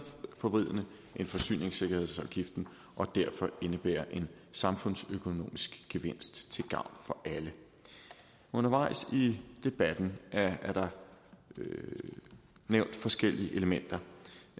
forvridende end forsyningssikkerhedsafgiften og derfor indebærer en samfundsøkonomisk gevinst til gavn for alle undervejs i debatten er der nævnt forskellige elementer